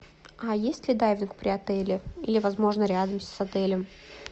а есть ли дайвинг при отеле или возможно рядом с отелем